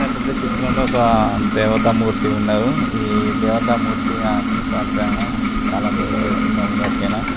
ప్రతి చిత్రం లో ఒక దేవత మూర్తి ఉనాన్రు ఈ దేవత మూర్తు ఎవరికైనా చాలా ప్రియం